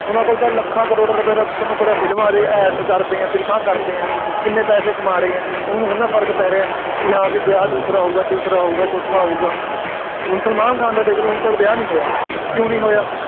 ਉਹਨਾ ਕੋਲ ਤਾਂ ਲੱਖਾਂ ਕਰੋੜਾਂ ਰੁਪਏ ਤਾਂ ਤੁਹਾਨੂੰ ਪਤਾ ਫਿਲਮਾਂ ਦੇ, Ads ਕਰਦੇ ਆ, ਫਿਲਮਾਂ ਕਰਦੇ ਆ, ਐਨੇ ਪੈਸੇ ਕਮਾ ਰਹੇ ਆ, ਉਹਨਾ ਨੂੰ ਥੋੜ੍ਹਾ ਫਰਕ ਪੈ ਰਿਹਾ ਕਿ ਹਾਂ ਬਈ ਵਿਆਹ ਦੂਸਰਾ ਹੋਊਗਾ, ਤੀਸਰਾ ਹੋਊਗਾ, ਚੌਥਾ ਹੋਊਗਾ, ਹੁਣ ਸਲਮਾਨ ਖਾਨ ਦਾ ਦੇਖ ਲਓ ਹੁਣ ਤੱਕ ਵਿਆਹ ਨਹੀਂ ਹੋਇਆ, ਕਿਉਂ ਨਹੀਂ ਹੋਇਆ,